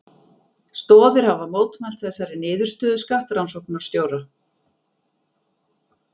Stoðir hafa mótmælt þessari niðurstöðu skattrannsóknarstjóra